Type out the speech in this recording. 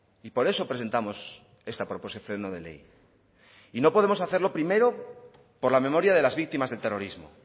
y por eso presentamos esta proposición no de ley y no podemos hacerlo primero por la memoria de las víctimas del terrorismo